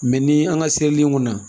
ni an ka seli in kunna